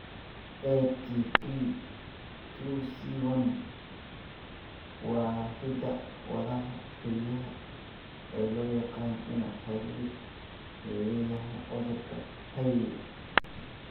ATP two C one waa hidda-wadaha kaliya ee loo yaqaan inuu xiriir la leeyahay cudurka Hailey Hailey.